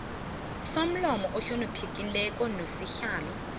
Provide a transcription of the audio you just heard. somlomo ohloniphekileko nosihlalo